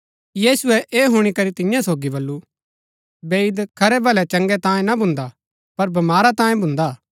यीशुऐ ऐह हुणी करी तियां सोगी बल्लू बैईद खरै भलै चंगै तांयें ना भुन्दा पर बमारा तांयें भुन्दा